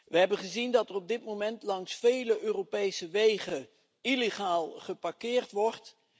We hebben gezien dat er op dit moment langs vele Europese wegen illegaal geparkeerd wordt.